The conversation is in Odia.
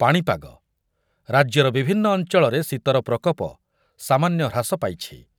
ପାଣିପାଗ, ରାଜ୍ୟର ବିଭନ୍ନ ଅଞ୍ଚଳରେ ଶୀତର ପ୍ରକୋପ ସାମନ୍ୟ ହ୍ରାସ ପାଇଛି।